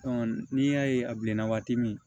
n'i y'a ye a bilenna waati min